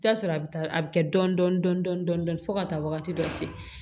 I bi t'a sɔrɔ a bi taa a bi kɛ dɔɔni dɔɔni fo ka taa wagati dɔ se